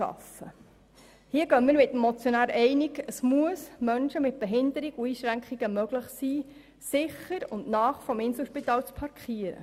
Hier gehen wir mit dem Motionär einig, dass es Menschen mit Behinderungen und Einschränkungen möglich sein muss, sicher und nahe am Inselspital zu parkieren.